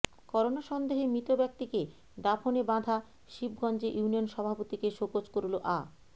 corona সন্দেহে মৃত ব্যক্তিকে দাফনে বাধা শিবগঞ্জে ইউনিয়ন সভাপতিকে শোকজ করল আ